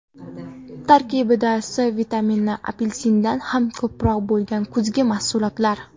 Tarkibida C vitamini apelsindan ham ko‘proq bo‘lgan kuzgi mahsulotlar.